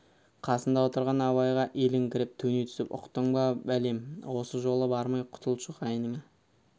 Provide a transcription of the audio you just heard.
қасында отырған абайға иіліңкіреп төне түсіп ұқтың ба бәлем осы жолы бармай құтылшы қайныңа